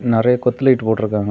நெறைய கொத்து லைட் போட்டுருக்காங்க.